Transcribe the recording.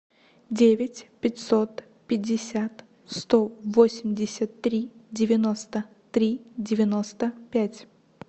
девять пятьсот пятьдесят сто восемьдесят три девяносто три девяносто пять